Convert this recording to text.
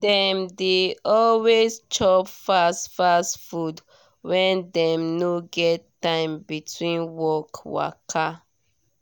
dem dey always chop fast fast food when dem no get time between work waka.